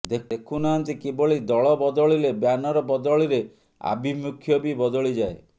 ଦେଖୁ ନାହାନ୍ତି କିଭଳି ଦଳ ବଦଳିଲେ ବ୍ୟାନର ବଦଳିରେ ଆଭିମୁଖ୍ୟ ବି ବଦଳିଯାଏ